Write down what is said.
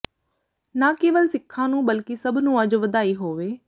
ਨਾਂ ਕੇਵਲ ਸਿੱਖਾਂ ਨੂੰ ਬਲਕਿ ਸਭ ਨੂੰ ਅੱਜ ਵਧਾਈ ਹੋਏ